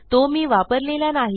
तो मी वापरलेला नाही